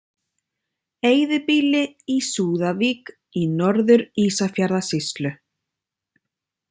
Eyðibýli í Súðavík í Norður-Ísafjarðarsýslu.